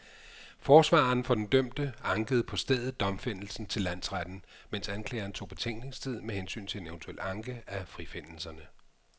Forsvareren for den dømte ankede på stedet domfældelsen til landsretten, mens anklageren tog betænkningstid med hensyn til en eventuel anke af frifindelserne.